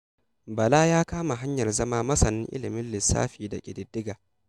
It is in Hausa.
Bala ya kama hanyar zama masanin ilimin lissafi da ƙididdiga.